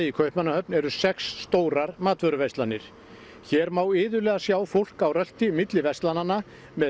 í Kaupmannahöfn eru sex stórar matvöruverslanir hér má iðulega sjá fólk á rölti milli verslananna með